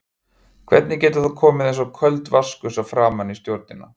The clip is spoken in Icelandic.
Hvernig getur það komið eins og köld vatnsgusa framan í stjórnina?